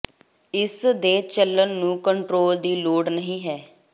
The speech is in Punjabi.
ਇਸ ਦੇ ਚੱਲਣ ਨੂੰ ਕੰਟਰੋਲ ਦੀ ਲੋੜ ਨਹੀ ਹੈ